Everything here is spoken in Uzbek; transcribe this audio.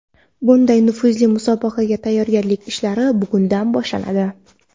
Bunday nufuzli musobaqaga tayyorgarlik ishlari bugundan boshlanadi.